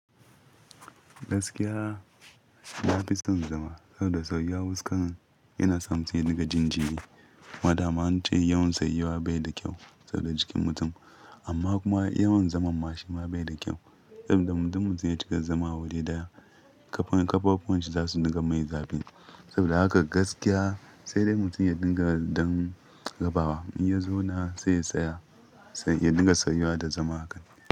Gaskiya, nafi son zama saboda tsayuwa wuskan yana sa mutum ya dinga jin jiri. Ma dama an ce yawan tsayuwa bai da kyau saboda jikin mutum amma kuma yawan zaman mashi ma bai da kyau saboda mutum ya cika zama wuri ɗaya kafafuwan shi za su dinga mai zafi. Saboda haka gaskiya sai dai mutum ya dinga dan rabawa. In ya zauna sai ya tsaya, sai ya dinga sauyuwa da zama haka.